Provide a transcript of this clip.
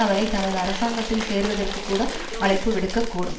அவரை தனது அரசாங்கத்தில் சேருவதற்குக் கூட அழைப்பு விடுக்கக்கூடும்